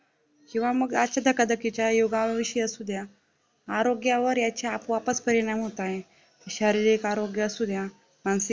किंवा मगअसा धकाधकीच्या युगा विषय असुद्या आरोग्यावर याचे आपोआपच परिणाम होताय शारीरिक आरोग्यावर सुद्धा मानसिक